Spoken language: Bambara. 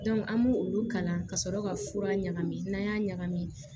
an m'olu kalan ka sɔrɔ ka fura ɲagami n'an y'a ɲagami